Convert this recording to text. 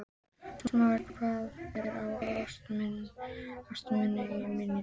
Smári, hvað er á áætluninni minni í dag?